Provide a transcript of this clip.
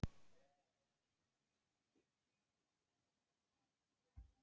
Annaðhvort eru Sovétríkin fangelsi þjóðanna og virki hins illa eða sól vonarinnar.